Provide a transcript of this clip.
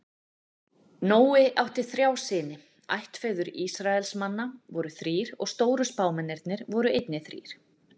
Nói átti þrjá syni, ættfeður Ísraelsmann voru þrír og stóru spámennirnir voru einnig þrír.